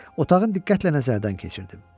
Otağın diqqətlə nəzərdən keçirtdim.